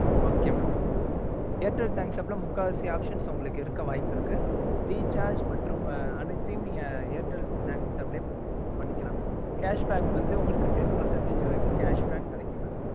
okay mam airtel thanks app ல முக்காவாசி options உங்களுக்கு இருக்க வாய்ப்பு இருக்கு. recharge மற்றும் அனைத்தையும் நீங்க airtel thanks app லயே பண்ணிக்கலாம் mam cash back வந்து உங்களுக்கு ten percentage வரைக்கும் cash back கடைசி வரைக்கும் கிடைக்கும் mam okay mam